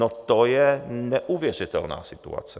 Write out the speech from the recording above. No to je neuvěřitelná situace!